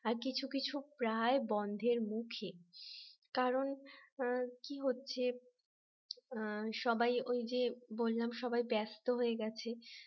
আর কিছু কিছু প্রায় বন্ধের মুখে কারণ কি হচ্ছে সবাই ওই যে বললাম সবাই ব্যস্ত হয়ে গেছে